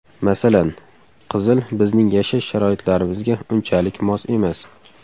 Masalan, qizil bizning yashash sharoitlarimizga unchalik mos emas.